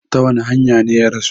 Ta wani hanya ne ya rasu?